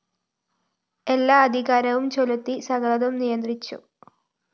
എല്ലാ അധികാരവും ചെലുത്തി സകലതും നിയന്ത്രിച്ചു